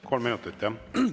Kolm minutit, jah?